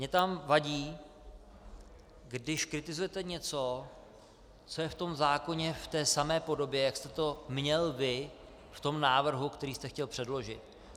Mně tam vadí, když kritizujete něco, co je v tom zákoně v té samé podobě, jak jste to měl vy v tom návrhu, který jste chtěl předložit.